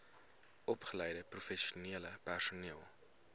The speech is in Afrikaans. opgeleide professionele personeel